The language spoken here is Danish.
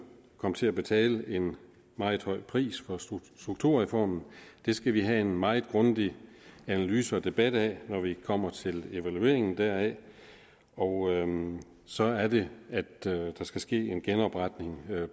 kom til at betale en meget høj pris for strukturreformen og det skal vi have en meget grundig analyse og debat af når vi kommer til evalueringen deraf og så er det at der skal ske en genopretning